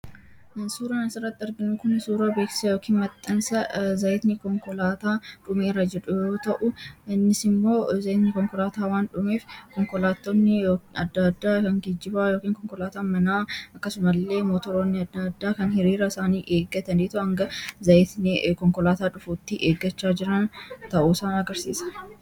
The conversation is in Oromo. Suuraan asaratti argan kun suura beeksa yookiin maxxansa zaayiitni konkolaataa dhuumeeraa jadhuu ta'u innis immoo zaayitni konkolaataa waan dhuumeef konkolaatoonni adda addaa kan gijjibaa yookiin konkolaataa manaa akkasuma illee mootoroonni adda addaa kan hiriira isaanii eeggatan dhiitu hanga zaa konkolaataa dhufuutti eeggachaa jiran ta'uu sa agarsiisa.